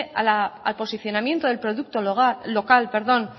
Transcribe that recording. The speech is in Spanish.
a la al posicionamiento del producto local